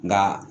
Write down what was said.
Nga